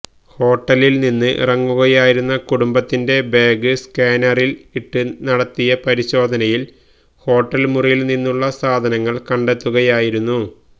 ഹോട്ടലില് നിന്ന് ഇറങ്ങുകയായിരുന്ന കുടുംബത്തിന്റെ ബാഗ് സ്കാനറില് ഇട്ട് നടത്തിയ പരിശോധനയില് ഹോട്ടല് മുറിയില്നിന്നുള്ള സാധനങ്ങള് കണ്ടെത്തുകയായിരുന്നു